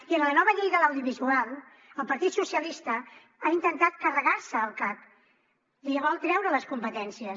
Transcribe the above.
i en la nova llei de l’audiovisual el partit socialista ha intentat carregar se el cac li vol treure les competències